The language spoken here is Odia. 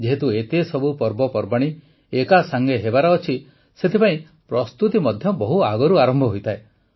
ଯେହେତୁ ଏତେସବୁ ପର୍ବପର୍ବାଣୀ ଏକାସାଂଗେ ହେବାର ଅଛି ସେଥିପାଇଁ ପ୍ରସ୍ତୁତି ମଧ୍ୟ ବହୁ ଆଗରୁ ଆରମ୍ଭ ହୋଇଥାଏ